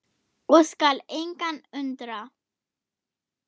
og skal engan undra.